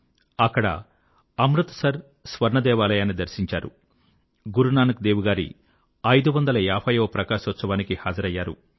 అక్కడ అమృత్ సర్ స్వర్ణ దేవాలయాన్ని దర్శించారు గురునానక్ దేవ్ గారి 550 వ ప్రకాశోత్సవానికి హాజరైనారు